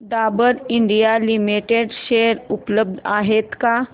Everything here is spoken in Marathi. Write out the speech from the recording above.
डाबर इंडिया लिमिटेड शेअर उपलब्ध आहेत का